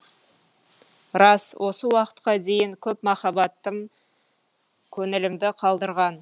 рас осы уақытқа дейін көп махаббатым көңілімді қалдырған